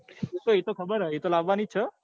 એતો એતો ખબર હ એતો લાવવા ની જ છે.